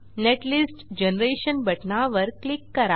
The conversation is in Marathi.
नेटलिस्ट जनरेशन बटणावर क्लिक करा